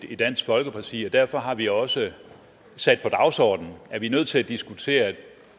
i dansk folkeparti er derfor har vi også sat på dagsordenen at vi er nødt til at diskutere